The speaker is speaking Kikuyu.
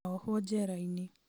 na ohwo njerainĩ